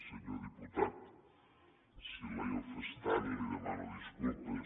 senyor diputat si l’he ofès tant li demano disculpes